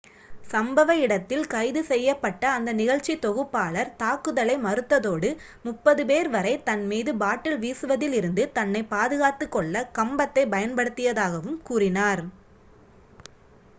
சம்பவ இடத்தில் கைது செய்யப்பட்ட அந்த நிகழ்ச்சித்தொகுப்பாளர் தாக்குதலை மறுத்ததோடு முப்பது பேர் வரை தன் மீது பாட்டில் வீசுவதிலிருந்து தன்னை பாதுகாத்துக் கொள்ள கம்பத்தைப் பயன்படுத்தியதாகவும் கூறினார்